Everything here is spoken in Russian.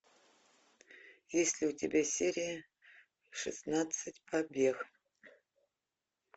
есть ли у тебя серия шестнадцать побег